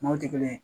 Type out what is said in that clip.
Maaw tɛ kelen